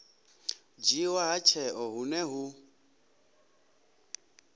dzhiiwa ha tsheo hune hu